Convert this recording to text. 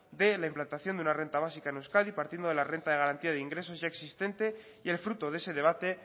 de la implantación de una renta básica en euskadi partiendo de la renta de garantía de ingresos ya existente y el fruto de ese debate